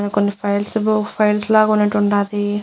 నా కొన్ని files files లాగా ఉన్నట్టు ఉండాది.